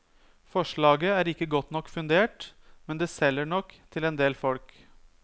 Forslaget er ikke godt nok fundert, men det selger nok til endel folk.